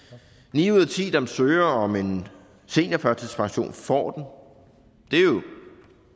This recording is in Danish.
ni ud af ti der søger om en seniorførtidspension får